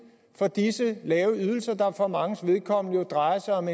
for disse lave ydelser der for manges vedkommende jo drejer sig om